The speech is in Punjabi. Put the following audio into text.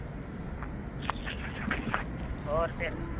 ਕ ਹੋਰ ਫਿਰ